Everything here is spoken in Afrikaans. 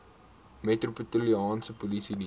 metropolitaanse polisie diens